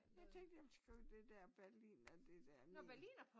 Jeg tænkte jeg ville skrive det der berliner det der ned